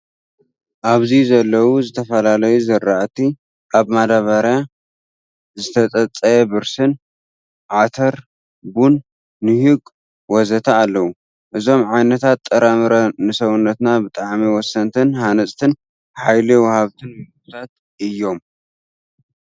ኣብዚ ዘለው ዝተፈላለዩ ዝራእቲ ኣብ ማዳበርያ ፣ ዝተፀፀየ ብርስን፣ ዓተር፣ ቡን፣ ኒሁግ፣ ወዘተ... ኣለው። እዞም ዓይነታት ጥረ-ምረ ንሰውነትና ብጣዕሚ ወሰንትን ሃነፅትን፣ ሓይሊ ወሃብትን ምግብታት እዮም።